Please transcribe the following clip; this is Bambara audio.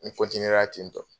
Ni n ra ten tɔ